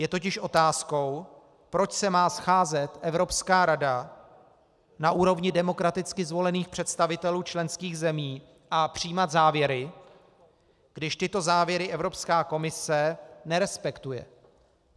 Je totiž otázkou, proč se má scházet Evropská rada na úrovni demokraticky zvolených představitelů členských zemí a přijímat závěry, když tyto závěry Evropská komise nerespektuje.